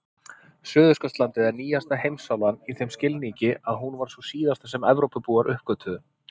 Suðurskautslandið er nýjasta heimsálfan í þeim skilningi að hún var sú síðasta sem Evrópubúar uppgötvuðu.